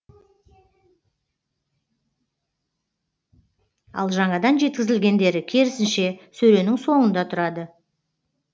ал жаңадан жеткізілгендері керісінше сөренің соңында тұрады